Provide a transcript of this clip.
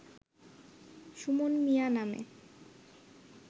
সুমন মিয়া নামে